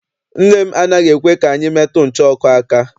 Nne m anaghị ekwe ka anyị metụ ncha ọkụ aka.